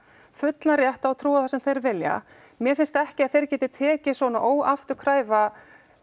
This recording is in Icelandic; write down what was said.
fullan rétt á að trúa á það sem þeir vilja mér finnst ekki að þeir geti tekið svona óafturkræfa